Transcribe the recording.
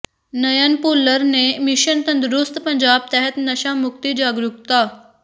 ਨਯਨ ਭੁੱਲਰ ਨੇ ਮਿਸ਼ਨ ਤੰਦਰੁਸਤ ਪੰਜਾਬ ਤਹਿਤ ਨਸ਼ਾ ਮੁਕਤੀ ਜਾਗਰੂਕਤਾ